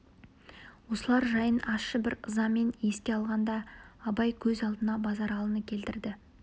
осылар жайын ащы бір ызамен еске алғанда абай көз алдына базаралыны келтірді